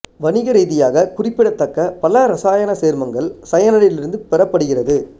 வணிகரீதியாக குறிப்பிடத்தக்க பல இரசாயன சேர்மங்கள் சயனைடில் இருந்து பெறப்படுகிறது